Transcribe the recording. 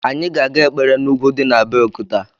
Anyị ga-aga ekpere n’ugwu di n’ Abeokuta